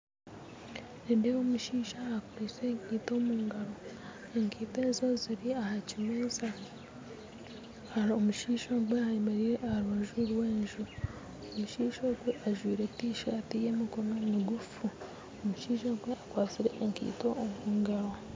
Nindeeba omushaija akwaitse enkaito omungaro enkaito ezo ziri ahakimeeza hariho omushaija ayemereire aharubaju rwenju omushaija ogwo ajwaire Tisaati yemikono migufu omushaija ogwo akatsire enkaito omungaro